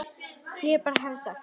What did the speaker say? Ef ég bara hefði sagt.